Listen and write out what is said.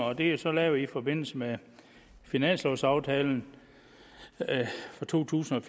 og det er så lavet i forbindelse med finanslovsaftalen for to tusind